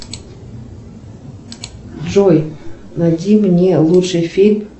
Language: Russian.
джой найди мне лучший фильм